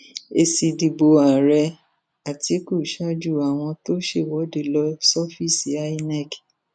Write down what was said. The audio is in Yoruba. èsì ìdìbò ààrẹ àtikukú ṣáájú àwọn tó ṣèwọde lọ sọfíìsì inec